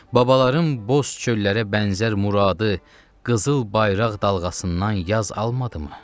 Babaların boz çöllərə bənzər muradı qızıl bayraq dalğasından yaz almadımı?